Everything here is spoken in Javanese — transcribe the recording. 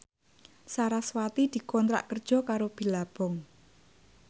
sarasvati dikontrak kerja karo Billabong